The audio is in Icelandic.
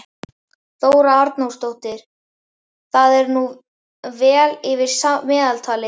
Þóra Arnórsdóttir: Það er nú vel yfir meðaltali?